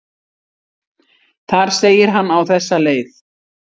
Þar segir hann á þessa leið: